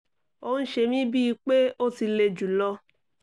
ó ń ṣe mi bíi pé ó ti le jù lọ